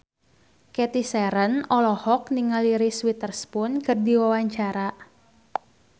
Cathy Sharon olohok ningali Reese Witherspoon keur diwawancara